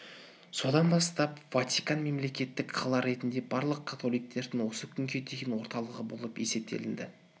содан бастап ватикан мемлекеттік қала ретінде барлық католиктердің осы күнге дейін орталығы болып есептелінді